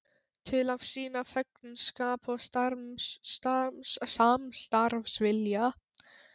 Til að sýna þegnskap og samstarfsvilja.